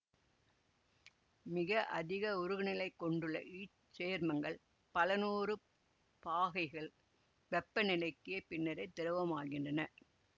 மிக அதிக உருகுநிலை கொண்டுள்ள இச்சேர்மங்கள் பலநூறு பாகைகள் வெப்பநிலைக்கு பின்னரே திரவமாகின்றன